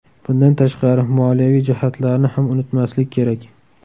Bundan tashqari, moliyaviy jihatlarni ham unutmaslik kerak.